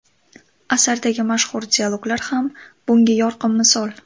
Asardagi mashhur dialoglar ham bunga yorqin misol.